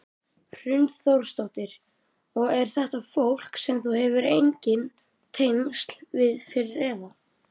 Hrund Þórsdóttir: Og er þetta fólk sem þú hefur engin tengsl við fyrir eða?